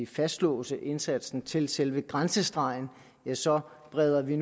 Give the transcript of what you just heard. fastlåse indsatsen til selve grænsestregen ja så breder vi